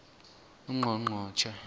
ungqongqotjhe